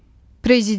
Prezident.